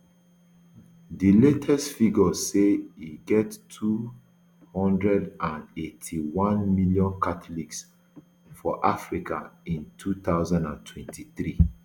di latest figures show say e get two hundred and eighty-one million catholics for africa in two thousand and twenty-three